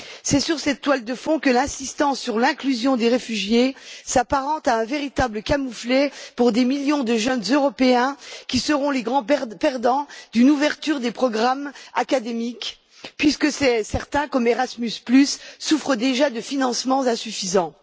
C'est sur cette toile de fond que l'insistance sur l'inclusion des réfugiés s'apparente à un véritable camouflet pour des millions de jeunes européens qui seront les grands perdants d'une ouverture des programmes académiques, puisque certains, comme Erasmus, souffrent déjà de financements insuffisants.